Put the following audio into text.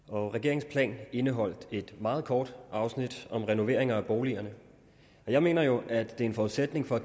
og regeringens plan indeholdt et meget kort afsnit om renoveringer af boligerne jeg mener jo det er en forudsætning for